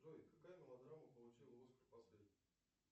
джой какая мелодрама получила оскар последней